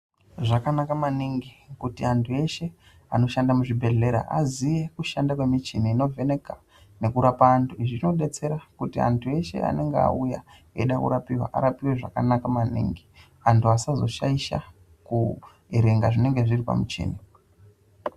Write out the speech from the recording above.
Zvakanaka maningi kuti anhu eshe anoshanda muzvibhedhlera aziye kushanda kwemichini inovheneka nekurapa antu izvi zvinodetsera kuti antu eshe anenge auya eida kurapiwa arapiwe zvakanaka maningi antu asazoshaisha kuerenga zvinenge zviri pamuchini .